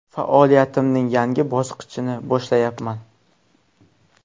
Faoliyatimning yangi bosqichini boshlayapman”.